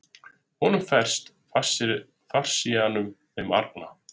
Honum ferst, faríseanum þeim arna!